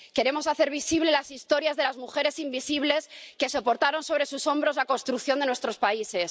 Queremos hacer visibles las historias de las mujeres invisibles que soportaron sobre sus hombros la construcción de nuestros países.